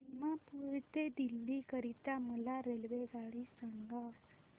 दिमापूर ते दिल्ली करीता मला रेल्वेगाडी सांगा